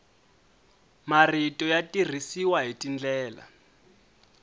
marito ya tirhisiwa hi tindlela